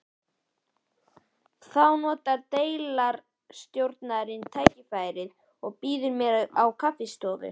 Þá notar deildarstjóri tækifærið og býður mér á kaffistofu